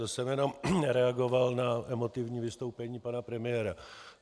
To jsem jenom reagoval na emotivní vystoupení pana premiéra.